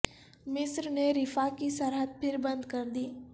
مصر نے رفاح کی سرحد پھر بند کر دی